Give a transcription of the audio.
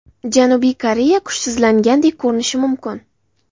Janubiy Koreya kuchsizlangandek ko‘rinishi mumkin.